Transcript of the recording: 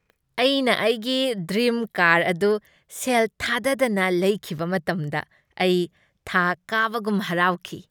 ꯑꯩꯅ ꯑꯩꯒꯤ dream car ꯑꯗꯨ ꯁꯦꯜ ꯊꯥꯗꯗꯅ ꯂꯩꯈꯤꯕ ꯃꯇꯝꯗ ꯑꯩ ꯊꯥ ꯀꯥꯕꯒꯨꯝ ꯍꯔꯥꯎꯈꯤ꯫